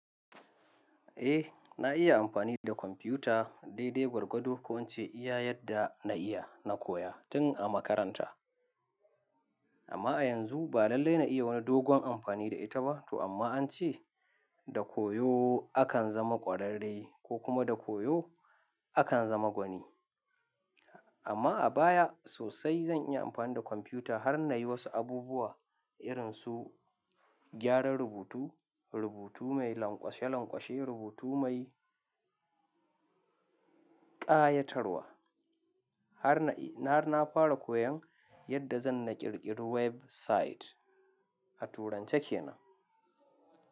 Eh na iya amfani da kwamfuta dai dai gwargwado ko in ce iya yadda na iya na koya tin a makaranta. Amma a yanzu ba lallai na yi wani dogon amfani da ita ba to amma an ce da koyo akan zama kwararre ko kuma da koyo akan zama gwani. Amma a baya sosai zan iya amfani da kwamfuta har na yi wasu abubuwa irin su gyaran rubutu, rubutu mai lanƙwashe lanƙwashe, rubutu mai ƙayatarwa har na fara koyon yadda zan na ƙirƙiri website. A turance kenan.